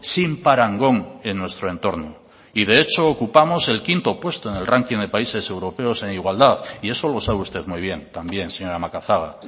sin parangón en nuestro entorno y de hecho ocupamos el quinto puesto en el ranking de países europeos en igualdad y eso lo sabe usted muy bien también señora macazaga